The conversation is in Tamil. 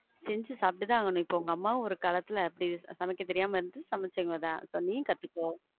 செஞ்சி சாப்ட்டு தான் ஆகணும். இப்போ உங்க அம்மாவும் ஒரு காலத்துல அப்படி சமைக்க தெரியாம இருந்து சமைச்சவங்க தான். நீயும் கத்துக்கோ.